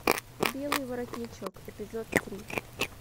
белый воротничок эпизод три